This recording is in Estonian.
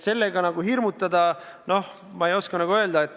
Sellega hirmutada – noh, ma ei oska öelda.